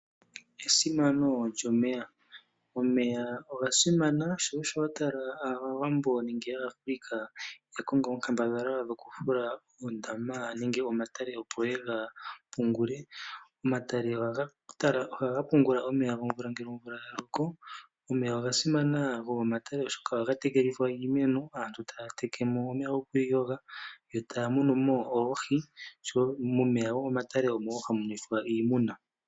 Esimano lyomeya, omeya oga simana sho osho wa tala aawambo nenge aAfrica ya kongo onkambadhala yoku fula oondama nenge omatale, opo ye ga pungule. Omatale ohaga pungula omeya gomvula ngele omvula ya loko. Omeya oga simana gomomatale oshoka aantu ohaye ga tekelitha iimeno, Taya teke mo omeya gokwiiyoga, yo taya munu mo oohi oshowo omeya gomomatale omo wo hamu nwethwa iimuna.